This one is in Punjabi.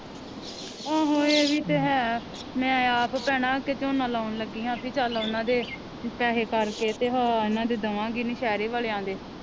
ਆਹੋ ਇਹ ਵੀ ਤਾ ਹੈ ਮੈ ਆਪ ਭੈਣਾਂ ਅੱਗੇ ਝੋਨਾ ਲਾਉਣ ਲੱਗੀ ਹਾਂ ਪੀ ਚਲ ਓਹਨਾ ਦੇ ਪੈਸੇ ਕਰਕੇ ਤੇ ਦਵਾਂਗੀ ਨੌਸ਼ਹਿਰੇ ਵਾਲਿਆ ਦੇ।